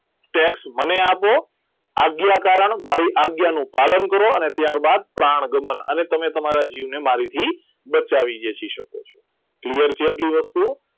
TAX મને આપો આજ્ઞા કારણ મારી આજ્ઞાનું પાનું કરો અને ત્યારબાદ પ્રાણગમન અને તમને તમારા જીવને મારાથી બચાવી લઈ શકો છો clear છે આટલી બધી આટલી વસ્તુ